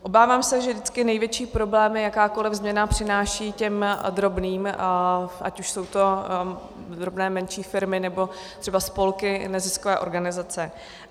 Obávám se, že vždycky největší problémy jakákoliv změna přináší těm drobným, ať už jsou to drobné, menší firmy, anebo třeba spolky, neziskové organizace.